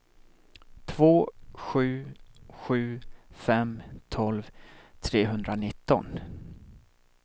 två sju sju fem tolv trehundranitton